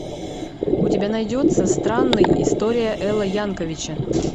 у тебя найдется странный история эла янковича